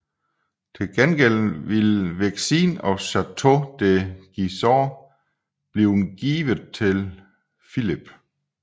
Til gengæld ville Vexin og Château de Gisors blive givet til Filip